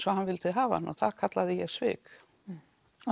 og hann vildi hafa hann og það kalla ég svik og